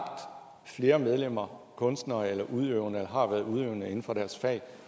flere medlemmer af kunstnere eller udøvende eller har været udøvende inden for deres fag